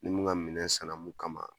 Ni mun ka minɛ sanna mun kama